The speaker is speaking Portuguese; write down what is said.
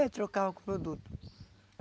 É, trocava por produto.